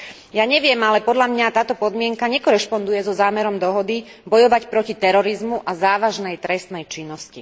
Ja neviem, ale podľa mňa táto podmienka nekorešponduje so zámerom dohody bojovať proti terorizmu a závažnej trestnej činnosti.